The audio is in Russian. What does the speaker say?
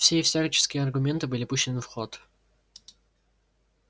все и всяческие аргументы были пущены в ход